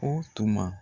O tuma